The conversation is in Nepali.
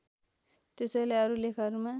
त्यसैले अरु लेखहरूमा